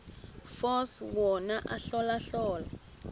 force wona ahlolahlole